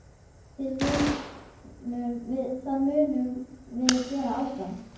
Það munum við gera áfram.